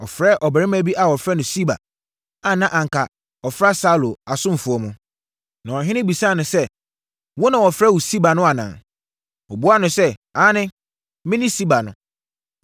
Ɔfrɛɛ ɔbarima bi a wɔfrɛ no Siba a na anka ɔfra Saulo asomfoɔ mu. Na ɔhene bisaa no sɛ, “Wo na wɔfrɛ wo Siba no anaa?” Ɔbuaa no sɛ, “Aane, mene Siba no.”